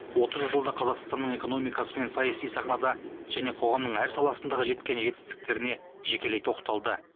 отыз жылда қазақстанның экономикасы мен саяси сахнада және қоғамның әр саласындағы жеткен жетістіктеріне жекелей тоқталды